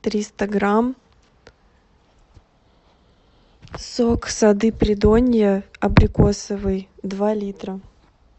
триста грамм сок сады придонья абрикосовый два литра